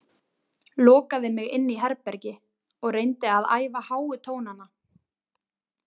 Lokaði mig inni í herbergi og reyndi að æfa háu tónana.